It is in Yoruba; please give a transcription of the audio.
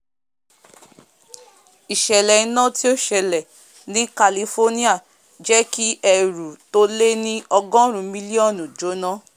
ìsẹ̀lẹ̀ iná tí ó sẹlẹ̀ ní california jẹ́ kí ẹrù tó lé ní ọgọ́run mílíọ́nù jóná